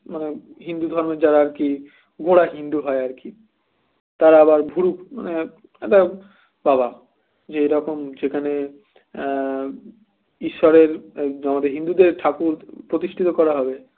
মানে হিন্দু ধর্মের যারা আরকি গোরা হিন্দু হয় আর কি তারা আবার ভুরু বাবা যে এরকম যেখানে আহ ঈশ্বরের আমাদের হিন্দুদের ঠাকুর প্রতিষ্ঠিত করা হবে